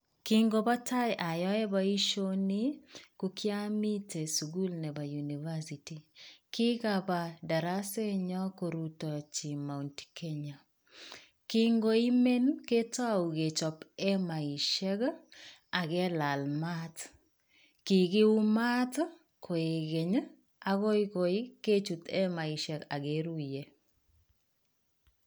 Kingobo tai ayoe boisioni, ko kiomiten sugul nebo University. Kikapaa darasetnyon koruteji Mount Kenya. Kingoimen, ketou kechop emaishek ak kilaal maat. Kikiyuu maat koi keny, agoi kechut emaishek ak keruye.